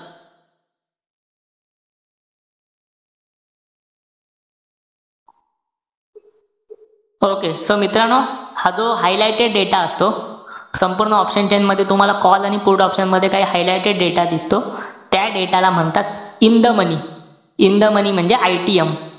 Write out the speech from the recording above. Okay so मित्रांनो, हा जो highlighted data असतो, संपूर्ण option chain मध्ये तुम्हाला call आणि put option मध्ये काही highlighted data दिसतो. त्या data ला म्हणतात, in the money. In the money म्हणजे ITM.